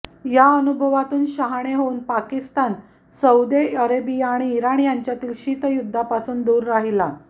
या अनुभवातून शहाणे होऊन पाकिस्तान सौदी अरेबिया आणि इराण यांच्यातील शीतयुद्धापासून दूर राहिला